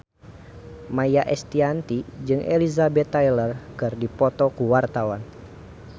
Maia Estianty jeung Elizabeth Taylor keur dipoto ku wartawan